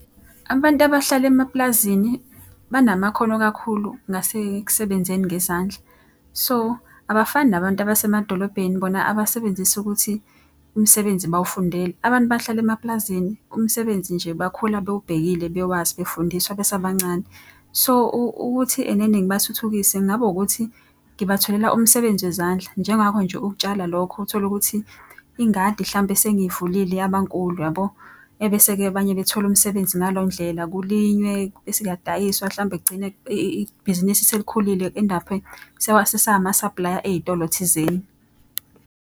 Abantu abahlala emapulazini banamakhono kakhulu ngasekusebenzeni ngezandla. So, abafani nabantu abasemadolobheni bona abasebenzisa ukuthi umsebenzi bawufundele. Abantu abahlala emapulazini, umsebenzi nje bakhula bewubhekile bewazi befundiswa besabancane, So, ukuthi ena ena ngibathuthukise kungaba wukuthi ngibatholela umsebenzi wezandla. Njengakho nje ukutshala lokho uthole ukuthi ingadi hlampe sengivulile yabankulu yabo. Ebese-ke abanye bethole umsebenzi ngaleyo ndlela kulinywe bese kuyadayiswa hlampe kugcine ibhizinisi selikhulile ku-end up-e sesamasaplaya ey'tolo thizeni.